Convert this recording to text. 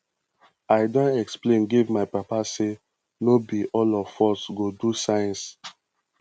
i don explain give my papa sey no be all of us go do science